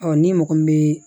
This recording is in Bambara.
ni mɔgɔ min bɛ